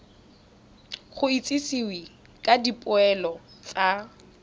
go itsisiwe ka dipoelo tsa